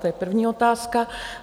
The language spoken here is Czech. To je první otázka.